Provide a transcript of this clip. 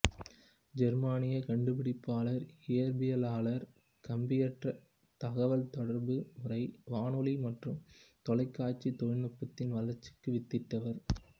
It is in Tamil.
ஜெர்மானியக் கண்டுபிடிப்பாளர் இயற்பியலாளர் கம்பியற்ற தகவல்தொடர்பு முறை வானொலி மற்றும் தொலைக்காட்சி தொழில்நுட்பத்தின் வளர்ச்சிக்கு வித்திட்டவர்